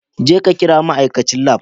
Jeka kira ma'aikacin lab.